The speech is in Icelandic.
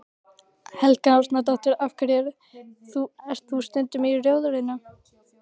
Helga Arnardóttir: Af hverju ert þú stundum í Rjóðrinu?